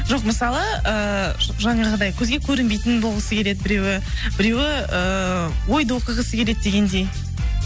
жоқ мысалы ыыы жаңағыдай көзге көрінбейтін болғысы келеді біреуі біреуі ыыы ойды оқығысы келеді дегендей